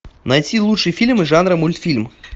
найти лучшие фильмы жанра мультфильм